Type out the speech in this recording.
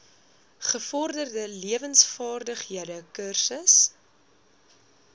gevorderde lewensvaardighede kursus